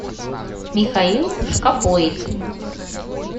михаил шкапоид